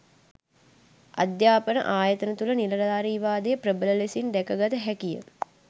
අධ්‍යාපන ආයතන තුළ නිලධාරීවාදය ප්‍රබල ලෙසින් දැකගත හැකිය